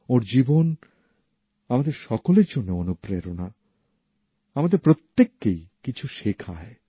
ওঁর জীবন আমাদের সকলের জন্য অনুপ্রেরণা আমাদের প্রত্যেককেই কিছু শেখায়